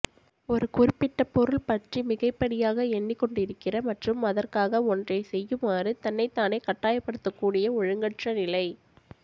ஒரு குறிப்பிட்ட பொருள் பற்றி மிகைப்படியாக எண்ணிக் கொண்டிருக்கிற மற்றும் அதற்காக ஒன்றைச் செய்யுமாறு தன்னைத்தானே கட்டாயப்படுத்தக்கூடிய ஒழுங்கற்றநிலை